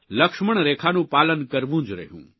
લક્ષ્મણરેખાનું પાલન કરવુ જ રહ્યું